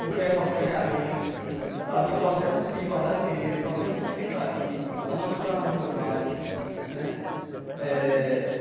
Porque aí eu passei a ganhar bem sabe, eu passei a conseguir guardar dinheiro, passei a me sustentar aqui, a não precisar mais de meu pai né eh.